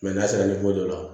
n'a sera dɔ la